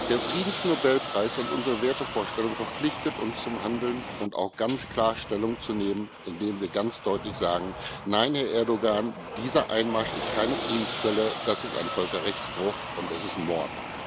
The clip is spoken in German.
Der Friedensnobelpreis und unsere Wertevorstellungen verpflichten uns zum Handeln und auch dazu, ganz klar Stellung zu nehmen, indem wir ganz deutlich sagen Nein, Herr Erdoğan, dieser Einmarsch ist keine Friedensquelle, er ist ein Völkerrechtsbruch und er ist Mord.